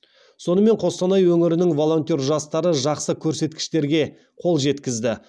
сонымен қостанай өңірінің волонтер жастары жақсы көрсеткіштерге қол жеткізді